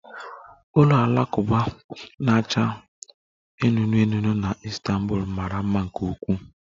Ụlọ alakụba na-acha anụnụ anụnụ na Istanbul mara mma nke ukwuu